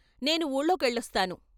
నేను వూళ్ళో కెళ్ళొస్తాను.